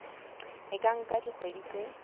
e ka nka dikgwedi tse